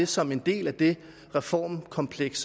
som en del af det reformkompleks